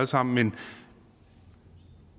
sammen